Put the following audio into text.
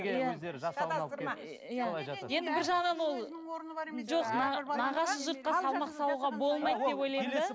енді бір жағынан ол жоқ нағашы жұртқа салмақ салуға